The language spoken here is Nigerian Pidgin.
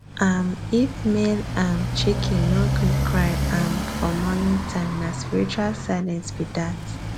um if male um chicken no gree cry um for morning time nah spiritual silence be dat